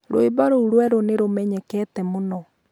rwĩmbo rũu rũerũ nĩ rumenyekete mũno